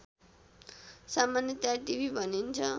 सामान्यतया टिभि भनिन्छ